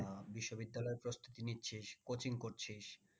আহ বিশ্ববিদ্যালয়ের প্রস্তুতি নিচ্ছিস coaching করছিস